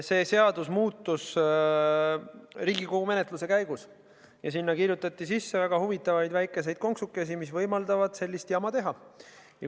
See seadus muutus Riigikogu menetluse käigus ja sinna kirjutati sisse väga huvitavaid väikseid konksukesi, mis võimaldavad sellist jama teha.